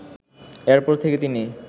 এরপর থেকে তিনি